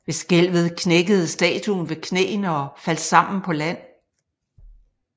Ved skælvet knækkede statuen ved knæene og faldt sammen på land